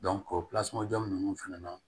o jo ninnu fana na